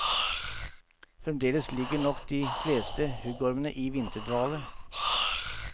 Fremdeles ligger nok de fleste huggormene i vinterdvale.